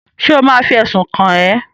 Ṣé ò ma fi ẹ̀sùn kàn ẹ́?